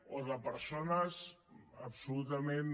o de persones absolutament